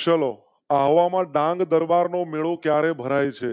ચલો આહવા માં ડાંગ દરબાર નો મેળો ભરાય છે.